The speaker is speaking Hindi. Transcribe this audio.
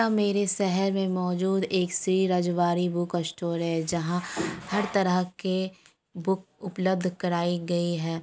यहाँ मेरे शहर में मौजूद एक श्री रजवाड़ी बुक स्टोर है जहाँ हर तरह के बुक उपलब्ध कराई गई है।